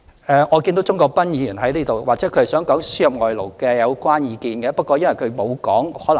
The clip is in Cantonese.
我看見鍾國斌議員在席，或許他想表達對輸入外勞的意見。